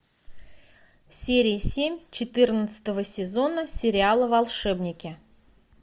серия семь четырнадцатого сезона сериала волшебники